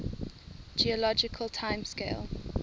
geologic time scale